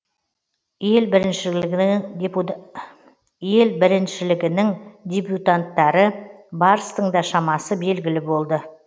ел біріншілігінің дебютанттары барстың да шамасы белгілі болды